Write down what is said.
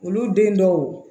Olu den dɔw